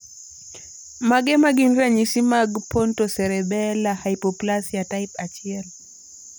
Mage magin ranyisi mag Pontocerebellar hypoplasia type 1?